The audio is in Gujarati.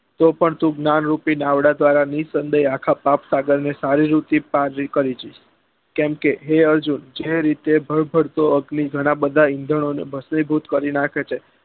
તો પણ તું જ્ઞાન રૂપી દાવડા દ્વારા નીસંદેય આખા પાપ સાગર ને સારી રીતે પાર કરી જઈસ કેમ કે હે અર્જુન જે રીતે ભળ ભળતો અગ્નિ જ્વાલા બધા ઇંધણ ઓ ને ભ્ષ્મી ભૂત કરી નાખે છે